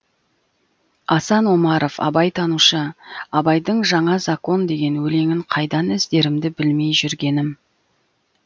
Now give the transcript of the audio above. асан омаров абайтанушы абайдың жаңа закон деген өлеңін қайдан іздерімді білмей жүргенім